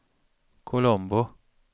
Colombo